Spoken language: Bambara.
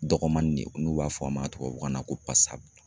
Dɔgɔmani de ye n'u b'a fɔ a ma tubabukan na ko